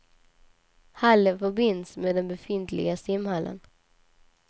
Hallen förbinds med den befintliga simhallen.